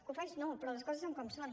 cofois no però les coses són com són